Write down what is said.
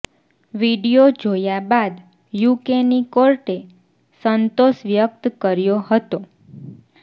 video જોયા બાદ યુકેની કોર્ટે સંતોષ વ્યક્ત કર્યો હતો